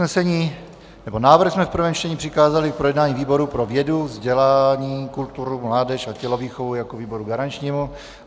Návrh jsme v prvém čtení přikázali k projednání výboru pro vědu, vzdělání, kulturu, mládež a tělovýchovu jako výboru garančnímu.